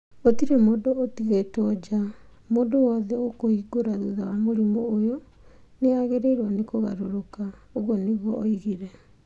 Gũtirĩ mũndũ ũtigĩtwo nja. Mũndũ wothe ũkũhingũra thutha wa mũrimũ ũyũ nĩ agĩrĩirwo nĩ kũgarũrũka". ũguo nĩguo oigire.